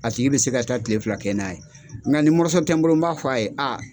A tigi bɛ se ka taa tile fila kɛ n'a ye nga ni mɔrɔso tɛ n bolo n b'a fɔ a ye